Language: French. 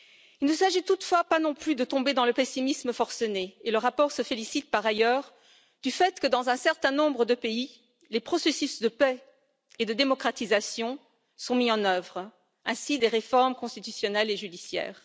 Il ne s'agit toutefois pas non plus de tomber dans le pessimisme forcené et le rapport se félicite, par ailleurs, du fait que dans un certain nombre de pays, les processus de paix et de démocratisation sont mis en œuvre, ainsi que des réformes constitutionnelles et judiciaires.